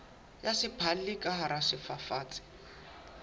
ya sephalli ka hara sefafatsi